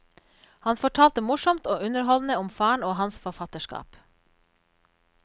Han fortalte morsomt og underholdende om faren og hans forfatterskap.